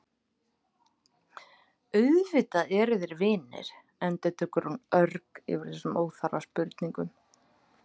Auðvitað eru þeir vinir, endurtekur hún örg yfir þessum óþarfa spurningum.